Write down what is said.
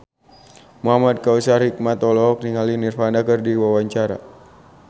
Muhamad Kautsar Hikmat olohok ningali Nirvana keur diwawancara